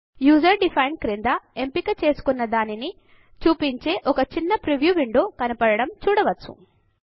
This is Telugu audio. user డిఫైన్డ్ క్రింద ఎంపిక చేసుకున్న దానిని చూపించే ఒక చిన్న ప్రివ్యూ విండో కనపడడం చూడవచ్చు